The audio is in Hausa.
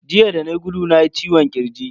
Jiya da nayi gudu nayi ciwon kirji.